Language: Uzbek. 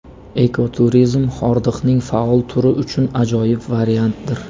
Ekoturizm – hordiqning faol turi uchun ajoyib variantdir.